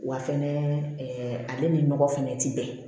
Wa fɛnɛ ɛɛ ale ni nɔgɔ fɛnɛ ti bɛn